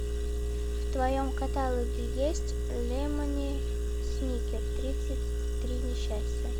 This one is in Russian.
в твоем каталоге есть лемони сникет тридцать три несчастья